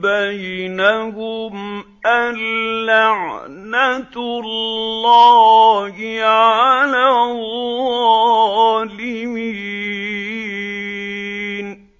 بَيْنَهُمْ أَن لَّعْنَةُ اللَّهِ عَلَى الظَّالِمِينَ